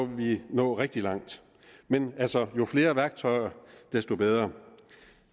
vi nå rigtig langt men altså jo flere værktøjer desto bedre